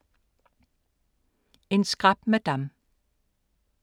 En skrap madam